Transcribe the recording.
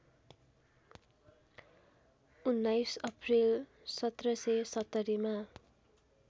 १९ April १७७० मा